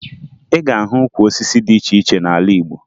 Ị ga-ahụ ukwu osisi dị iche iche n'ala Igbo